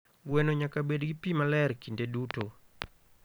Gweno nyaka bed gi pi maler kinde duto.